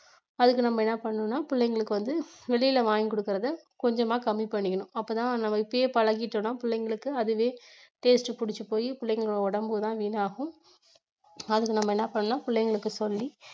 அதுக்கு நம்ம என்ன பண்ணனும்னா பிள்ளைங்களுக்கு வந்து வெளியில வாங்கி கொடுக்கிறதை கொஞ்சமா கம்மி பண்ணிக்கணும் அப்பத்தான் நம்ம இப்பயே பழகிட்டோம்னா பிள்ளைங்களுக்கு அதுவே taste பிடிச்சி போயி பிள்ளைங்களோட உடம்பு தான் வீணாகும் அதுக்கு நம்ம என்ன பண்ணலாம் பிள்ளைங்களுக்கு சொல்லி